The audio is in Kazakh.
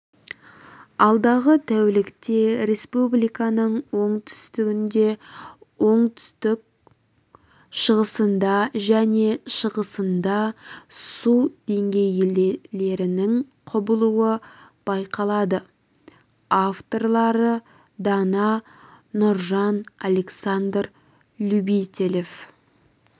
алдағы тәулікте республиканың оңтүстігінде оңтүстік-шығысында және шығысында су деңгейлерінің құбылуы байқалады авторлары дана нұржан александр любителев